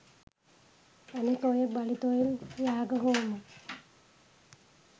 අනික ඔය බලි තොයිල් යාග හෝම